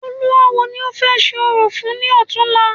Olúawo ni o fẹ ṣe orò fún ni ọ̀túnla